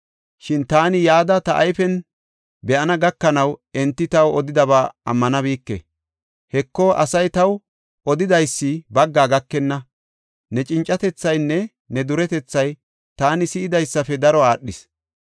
Shin taani yada, ta ayfen be7ana gakanaw enti taw odidaba ammanabike. Heko, asay taw odidaysi bagga gakenna; ne cincatethaynne ne duretethay taani si7idaysafe daro aadhees.